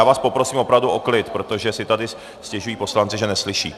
Já vás poprosím opravdu o klid, protože si tady stěžují poslanci, že neslyší.